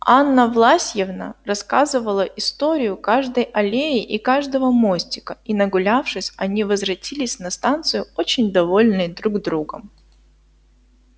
анна власьевна рассказала историю каждой аллеи и каждого мостика и нагулявшись они возвратились на станцию очень довольные друг другом